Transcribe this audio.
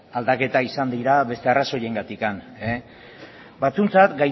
aldaketa izan dira beste arrazoiengatik batzuentzat